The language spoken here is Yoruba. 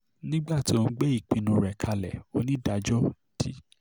nígbà tó ń gbé ìpinnu rẹ̀ kalẹ̀ onídàájọ́ d